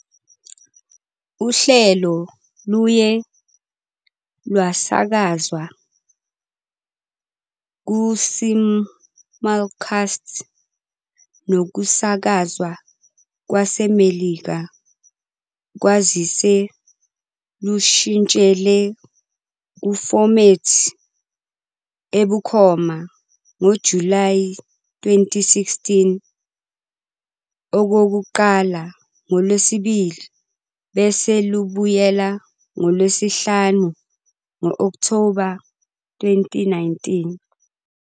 Uhlelo luye lwasakazwa kusimulcast nokusakazwa kwaseMelika kwazise lushintshele kufomethi ebukhoma ngoJulayi 2016, okokuqala ngoLwesibili bese lubuyela ngoLwesihlanu ngoOkthoba 2019.